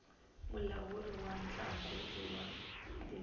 mulawuri wa ntlangu i nwa timpepe